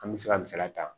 An bɛ se ka misaliya ta